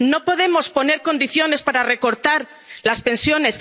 fiscal. No podemos poner condiciones para recortar las